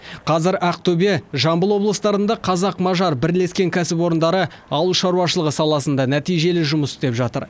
қазір ақтөбе жамбыл облыстарында қазақ мажар бірлескен кәсіпорындары ауыл шаруашылығы саласында нәтижелі жұмыс істеп жатыр